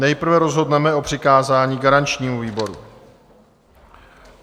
Nejprve rozhodneme o přikázání garančnímu výboru.